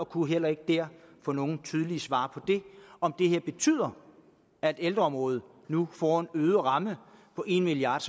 kunne heller ikke der få nogen tydelige svar på om det her betyder at ældreområdet nu får en øget ramme på en milliard